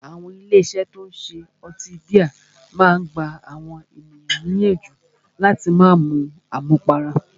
Àwọn ilé iṣé tí o ń ṣe ọtí bíà a máà gbà àwọn ènìyàn níyànjú láti má mú àmúpará.